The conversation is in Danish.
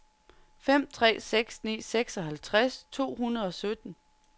fem tre seks ni seksoghalvtreds to hundrede og sytten